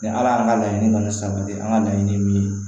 Ni ala y'an ka laɲini kɔni sanga di an ka laɲini min ye